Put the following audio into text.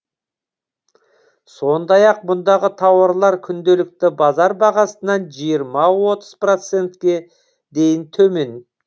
сондай ақ мұндағы тауарлар күнделікті базар бағасынан жиырма отыз процентке дейін төмен